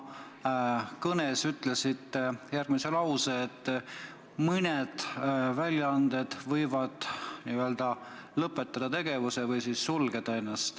Te oma kõnes ütlesite järgmise lause, et mõned väljaanded võivad lõpetada tegevuse või ennast sulgeda.